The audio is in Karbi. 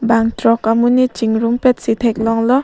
bangthrok amonit chingrum petsi theklonglo.